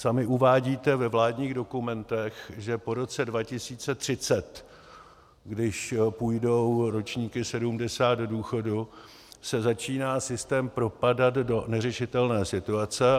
Sami uvádíte ve vládních dokumentech, že po roce 2030, když půjdou ročníky 1970 do důchodu, se začíná systém propadat do neřešitelné situace.